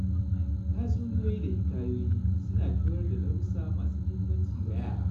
Tatsuniyoyi da hikayoyi suna koyar da darussa masu muhimmanci ga yara.